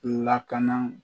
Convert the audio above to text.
Lakana